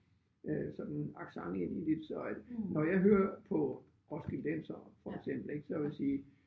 Øh sådan accent ind i det så øh når jeg hører på roskildensere for eksempel ik så vil jeg sige